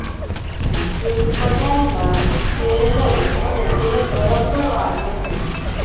એક કડાઈમાં તેલ લઇ અને તેને ગરમ કરવા મૂકવું